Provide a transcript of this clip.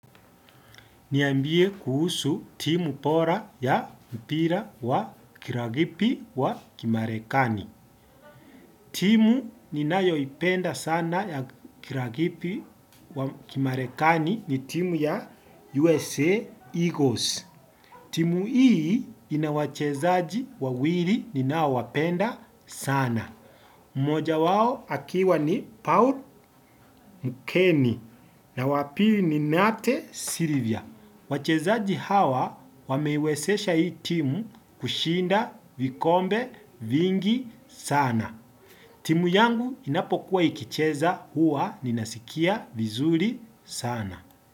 Niambie kuhusu timu bora ya mpira wa kirugby wa kimarekani. Timu ninayoipenda sana ya kirugby wa kimarekani ni timu ya USA Eagles. Timu hii ina wachezaji wawili ninaowapenda sana. Mmoja wao akiwa ni Paul Mkeni na wa pili ni Nate Sylvia. Wachezaji hawa wameiwezesha hii timu kushinda vikombe vingi sana. Timu yangu inapokuwa ikicheza huwa ninasikia vizuri sana.